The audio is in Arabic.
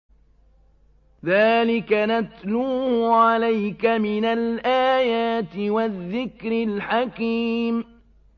ذَٰلِكَ نَتْلُوهُ عَلَيْكَ مِنَ الْآيَاتِ وَالذِّكْرِ الْحَكِيمِ